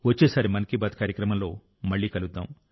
వచ్చేసారి మన్ కీ బాత్ కార్యక్రమంలో మళ్ళీ కలుద్దాం